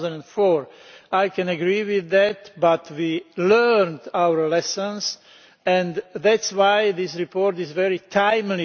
2004. I can agree with that, but we learned our lessons, and that is why this report is very timely.